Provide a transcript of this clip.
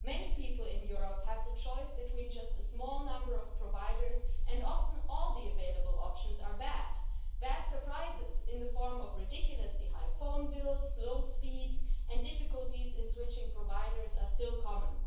Many people in Europe have the choice between just a small number of providers, and often all the available options are bad. Bad surprises, in the form of ridiculously high phone bills, slow speeds and difficulties in switching providers, are still common.